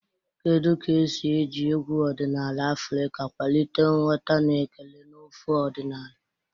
Kedu ka esi eji egwu ọdịnala Afrika kwalite nghọta na ekele n'ofe ọdịnala?